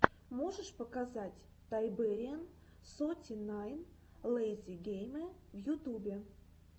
можешь показать тайбэриэн соти найн лэйзи гейме в ютубе